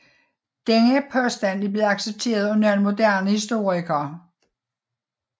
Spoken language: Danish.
Denne påstand er blevet accepteret af nogle moderne historikere